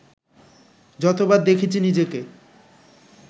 যতবার দেখেছি নিজেকে